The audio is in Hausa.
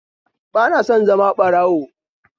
Ba na son zama da ɓarawo